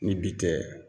Ni bi tɛ